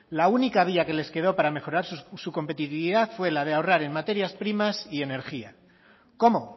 la única vía que les quedó para mejorar su competitividad fue la de ahorrar en materias primas y energía cómo